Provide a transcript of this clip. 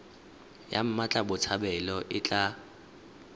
ya mmatla botshabelo e tla